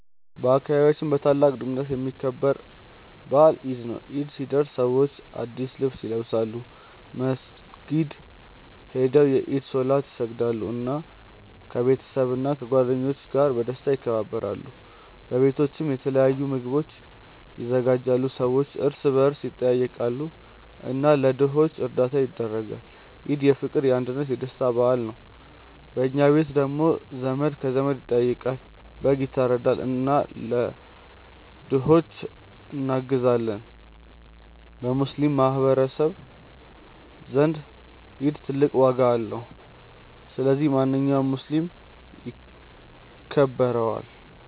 በአካባቢያችን በታላቅ ድምቀት የሚከበር በዓል ኢድ ነው። ኢድ ሲደርስ ሰዎች አዲስ ልብስ ይለብሳሉ፣ መስጊድ ሄደው የኢድ ሶላት ይሰግዳሉ፣ እና ከቤተሰብና ከጓደኞች ጋር በደስታ ያከብራሉ። በቤቶችም የተለያዩ ምግቦች ይዘጋጃሉ፣ ሰዎችም እርስ በርስ ይጠያየቃሉ እና ለድሆች እርዳታ ያደርጋሉ። ኢድ የፍቅር፣ የአንድነት እና የደስታ በዓል ነው። በኛ ቤት ደግሞ ዘመድ ከዘመድ ይጠያየቃል፣ በግ ይታረዳል እና ለድሆች እናግዛለን። በሙስሊሞች ማህቀረሰብ ዘንድ ኢድ ትልቅ ዋጋ አለው። ስለዚህ ማንኛውም ሙስሊም ያከብረዋል።